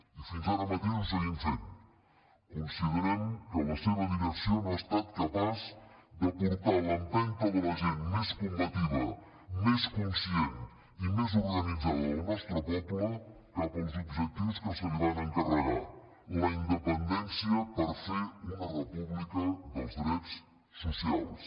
i fins ara mateix ho seguim fent considerem que la seva direcció no ha estat capaç de portar l’empenta de la gent més combativa més conscient i més organitzada del nostre poble cap als objectius que se li van encarregar la independència per fer una república dels drets socials